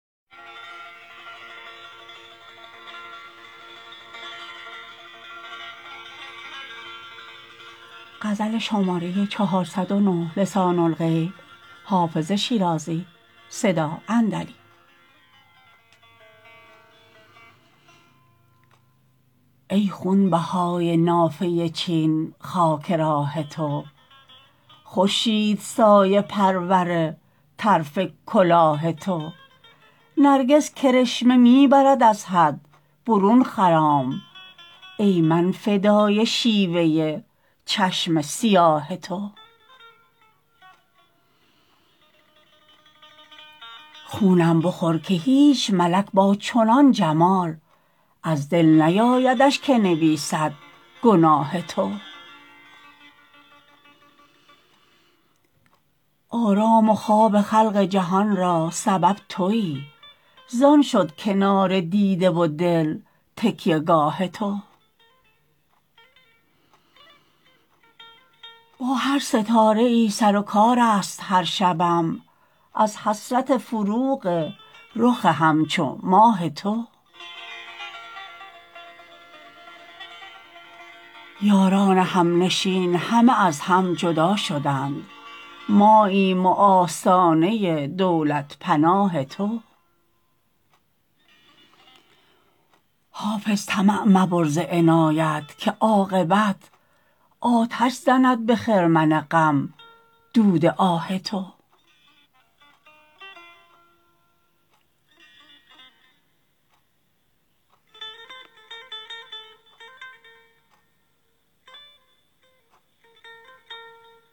ای خونبهای نافه چین خاک راه تو خورشید سایه پرور طرف کلاه تو نرگس کرشمه می برد از حد برون خرام ای من فدای شیوه چشم سیاه تو خونم بخور که هیچ ملک با چنان جمال از دل نیایدش که نویسد گناه تو آرام و خواب خلق جهان را سبب تویی زان شد کنار دیده و دل تکیه گاه تو با هر ستاره ای سر و کار است هر شبم از حسرت فروغ رخ همچو ماه تو یاران همنشین همه از هم جدا شدند ماییم و آستانه دولت پناه تو حافظ طمع مبر ز عنایت که عاقبت آتش زند به خرمن غم دود آه تو